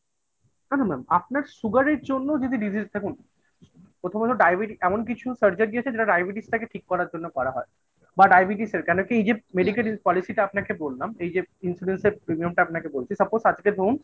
না না mam আপনার sugar এর জন্য যদি disease থাকুন প্রথমত ডায়বেটিস এমন কিছু Surgery আছে যেটা ডায়বেটিসটাকে ঠিক করার জন্য করা হয় বা ডায়বেটিসের কেন কি এই যে Medical policy টা আপনাকে বললাম এই যে insurance র Premiumটা আপনাকে বলছি suppose আজকে ধরুন